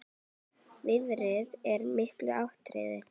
Veðrið er mikið atriði.